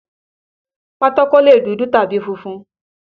Pátákó lè dúdú tàbí funfun.